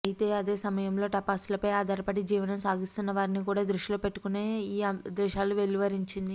అయితే అదే సమయం లో టపాసులపై ఆధారపడి జీవనం సాగిస్తున్నవారిని కూడా దృష్టిలో పెట్టుకొనే ఈ ఆదేశాలు వెలువరించింది